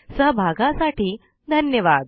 सहभागासाठी धन्यवाद